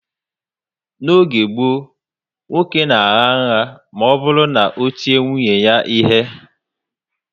N'oge gboo, nwoke na agha nha ma oburu na o tie nwunye ya ihe